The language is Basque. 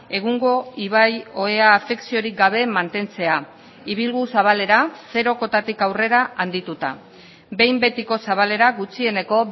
egungo ibai ohea afekziorik gabe mantentzea ibilgu zabalera zero kotatik aurrera handituta behin betiko zabalera gutxieneko